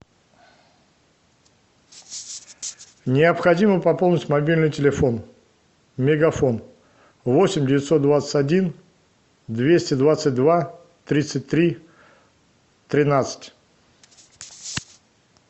необходимо пополнить мобильный телефон мегафон восемь девятьсот двадцать один двести двадцать два тридцать три тринадцать